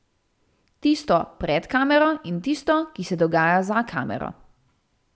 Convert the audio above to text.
Tisto pred kamero in tisto, ki se dogaja za kamero.